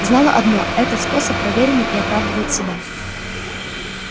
знала одно этот способ проверенный и оправдывает себя